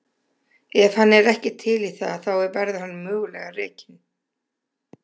Ef hann er ekki til í það þá verður hann mögulega rekinn.